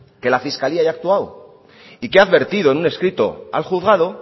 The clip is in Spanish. que la fiscalía ya ha actuado y que ha advertido en un escrito al juzgado